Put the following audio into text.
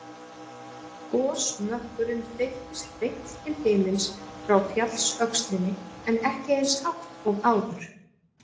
Gosmökkurinn þeyttist beint til himins frá fjallsöxlinni en ekki eins hátt og áður.